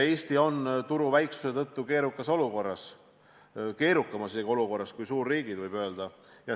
Eesti on turu väiksuse tõttu keerukas olukorras, isegi keerukamas olukorras kui suurriigid, võib öelda.